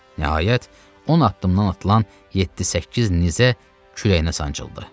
Nəhayət, 10 addımdan atılan yeddi-səkkiz nizə kürəyinə sancıldı.